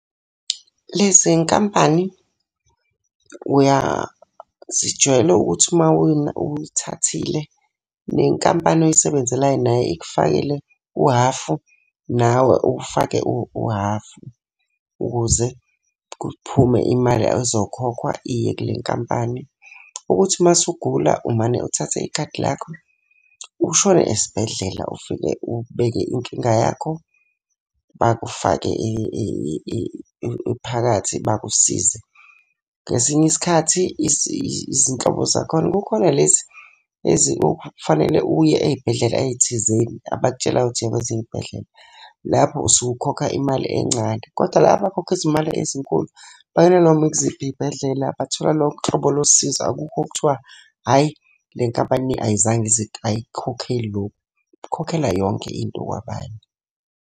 Lezi nkampani zijwayele ukuthi uma uyithathile, nenkampani oyisebenzelayo naye ikufakele uhhafu nawe ufake uhhafu ukuze kuphume imali ezokhokhwa iye kule nkampani. Ukuthi uma usugula umane uthathe ikhadi lakho ushone esibhedlela ufike ubeke inkinga yakho bakufake phakathi bakusize. Ngesinye isikhathi izinhlobo zakhona kukhona lezi okufanele uye ey'bhedlela ey'thizeni, abakutshelayo ukuthi iya kwezinye iy'bhedlela. Lapho usuke ukhokha imali encane, kodwa la abakhokhisa izimali ezinkulu, balala noma ikuziphi iy'bhedlela, bathola lonke uhlobo losizo. Akukho okuthiwa hhayi le nkampani ayizange ayikukhokheli lokhu, ikhokhela yonke into kwabanye.